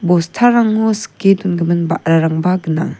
bostarango sike dongimin ba·rarangba gnang.